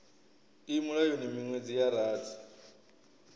i mulayoni miṅwedzi ya rathi